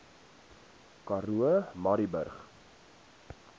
karoo murrayburg